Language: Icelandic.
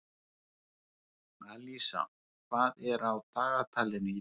Alísa, hvað er á dagatalinu í dag?